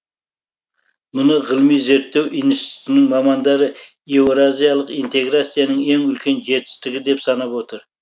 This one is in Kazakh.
мұны ғылыми зерттеу институтының мамандары еуразиялық интеграцияның ең үлкен жетістігі деп санап отыр